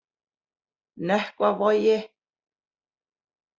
Nökkvavogi